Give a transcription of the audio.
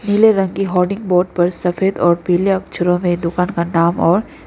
पीले रंग की होर्डिंग बोर्ड पर सफेद और पीले अक्षरों में दुकान का नाम और--